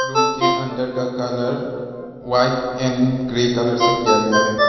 उनके अंदर का colour white and grey colour से किया गया है।